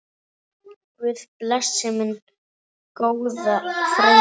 Guð blessi minn góða frænda.